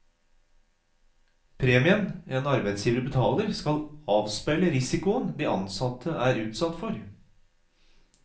Premien en arbeidsgiver betaler, skal avspeile risikoen de ansatte er utsatt for.